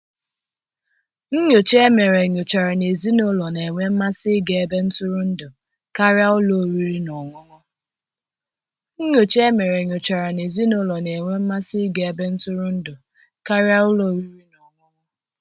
Nnyocha e mere nyochara na ezinụlọ na-enwe mmasị ịga ebe ntụrụndụ karịa ụlọ oriri na ọṅụṅụ.